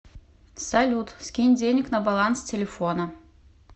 салют скинь денег на баланс телефона